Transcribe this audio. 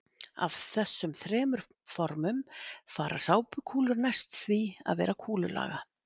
Af þessum þremur formum fara sápukúlur næst því að vera kúlulaga.